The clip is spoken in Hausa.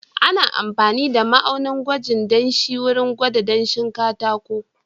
Ana amfani da ma'aunin gwajin danshi wurin gwada danshin katako.